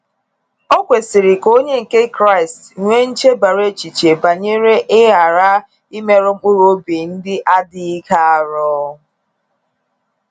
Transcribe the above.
O kwesiri ka onye nke Kraịst nwee nchebara echiche banyere ịghara imerụ mkpụrụobi ndị adịghị ike arụ.